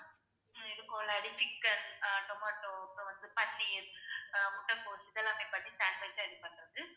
chicken அஹ் tomato அப்புறம் வந்து paneer அஹ் முட்டைக்கோஸ் இது எல்லாமே பண்ணி sandwich ஆ இது பண்றது